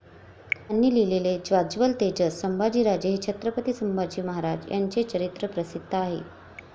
त्यांनी लिहिलेले 'ज्वाज्वलंतेजस सांभाजीराजे' हे छत्रपती संभाजी महाराज यांचे चरित्र प्रसिद्ध आहे.